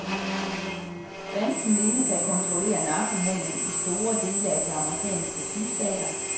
Banden menes at kontrollere narkohandelen i store dele af de amerikanske sydstater.